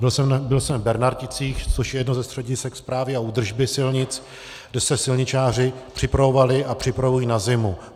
Byl jsem v Bernarticích, což je jedno ze středisek Správy a údržby silnic, kde se silničáři připravovali a připravují na zimu.